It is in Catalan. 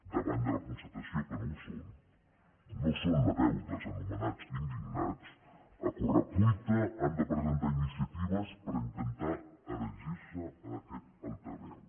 davant de la constatació que no ho són no són la veu dels anomenats indignats a corre cuita han de presentar iniciatives per intentar erigir se en aquest altaveu